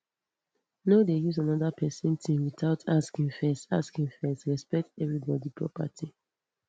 no dey use another person thing without asking first asking first respect everybody property